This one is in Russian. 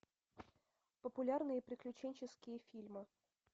популярные приключенческие фильмы